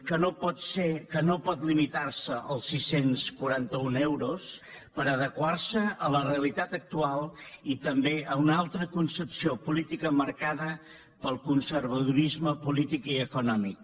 que no pot ser que no pot limitar se als sis cents i quaranta un euros per adequar se a la realitat actual i també a una altra concepció política marcada pel conservadorisme polític i econòmic